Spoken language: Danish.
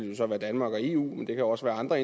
det så være danmark og eu men det kan også være andre